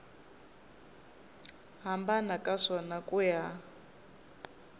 hambana ka swona ku ya